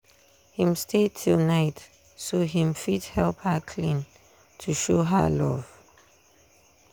him stay till night so him fit help her clean to show her love